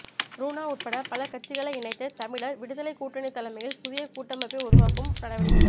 ருணா உட்பட பல கட்சிகளை இணைத்து தமிழர் விடுதலைக் கூட்டணி தலைமையில் புதிய கூட்டமைப்பை உருவாக்கும் நடவடிக்கைகள்